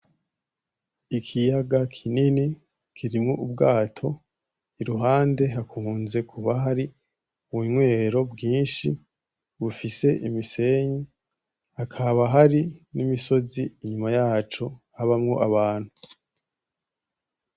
Ikiyaga kinini kirimwo ubwato, iruhando hakunze kuba hari unywero bwinshi bufise imisenyi, hakaba hari n'imisozi inyuma yaco habamwo abantu.